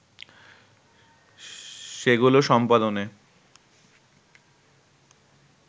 সেগুলো সম্পাদনে